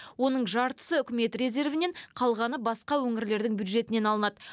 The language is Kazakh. оның жартысы үкімет резервінен қалғаны басқа өңірлердің бюджетінен алынады